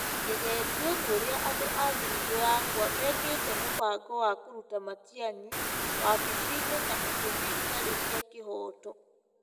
Ngegĩtio nĩ ũrĩa andũ a thiritũ yakwa mekĩte mũbango wa kũruta Matiang'i wabici-inĩ na itũmi itarĩ cia kĩhooto.